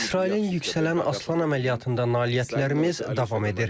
İsrailin Yüksələn Aslan əməliyyatında nailiyyətlərimiz davam edir.